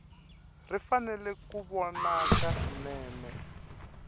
ri fanele ku vonaka swinene